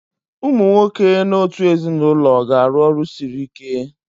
Ụmụ nwoke n'otu ezinụlọ ga-arụ ọrụ siri ike.